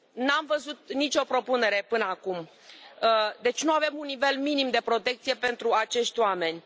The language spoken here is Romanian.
Nu am văzut nici o propunere până acum, deci nu avem un nivel minim de protecție pentru acești oameni.